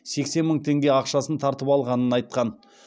сексен мың теңге ақшасын тартып алғанын айтқан